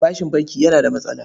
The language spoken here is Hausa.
Bashin banki yana da matsala.